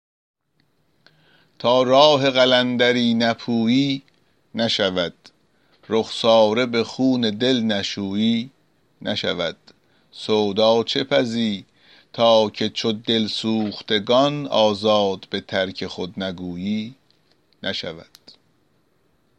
تا راه قلندری نپویی نشود رخساره به خون دل نشویی نشود سودا چه پزی تا که چو دل سوختگان آزاد به ترک خود نگویی نشود